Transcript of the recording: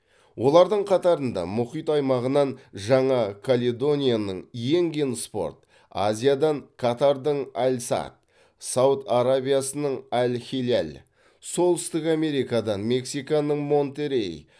олардың қатарында мұхит аймағынан жаңа каледонияның иенген спорт азиядан катардың аль садд сауд арабиясының аль хиляль солүстік америкадан мексиканың монтеррей